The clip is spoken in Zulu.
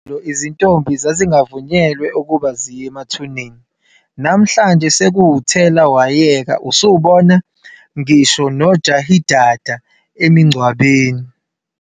"Izintombi zazingavunyelwa ukuba ziye emathuneni", namhlanje sekuwuthela wayeka usubona ngisho nojahidada emingcwabeni.